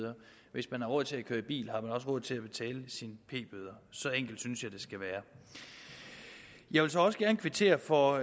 hvis man har råd til at køre i bil har man også råd til at betale sin p bøder så enkelt synes jeg det skal være jeg vil så også gerne kvittere for